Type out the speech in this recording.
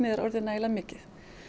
er orðið nægilega mikið